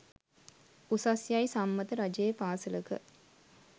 උසස් යයි සම්මත රජයේ පාසලක